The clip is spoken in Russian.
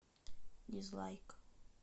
дизлайк